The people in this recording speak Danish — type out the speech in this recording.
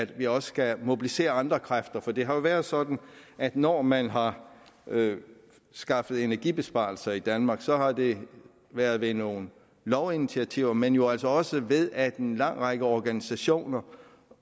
vi også skal mobilisere andre kræfter for det har været sådan at når man har skaffet energibesparelser i danmark så har det været ved nogle lovinitiativer men jo også også ved at en lang række organisationer